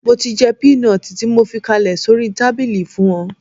Mo ti jẹ́ pínọtì tí mo fi kalẹ̀ sórí tábìlì fún ọ